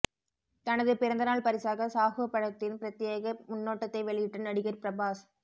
தனது பிறந்தநாள் பரிசாக சாஹூ படத்தின் ப்ரத்யேக முன்னோட்டத்தை வெளியிட்ட நடிகர் பிரபாஸ்